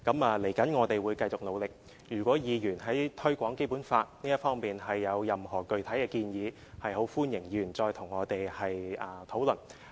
未來我們會繼續努力，如果議員在推廣《基本法》這方面有任何具體建議，很歡迎議員跟我們討論。